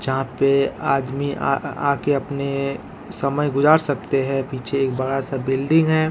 यहां पर आदमी आकर अपने समय गुजार सकते हैं पीछे एक बड़ा सा बिल्डिंग है।